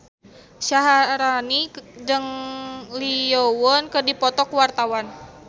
Syaharani jeung Lee Yo Won keur dipoto ku wartawan